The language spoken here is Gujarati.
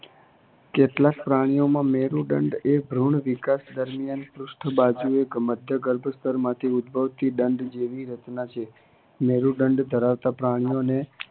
કેટલાક પ્રાણીઓમાં મેરુદંડ એ ભ્રુણ વિકાશ દરમિયાન પૃષ્ઠ બાજુએ મધ્યગર્ભસ્તરમાંથી ઉદભવતી દંડ જેવી રચના છે. મેરુદંડ ધરાવતા પ્રાણીઓને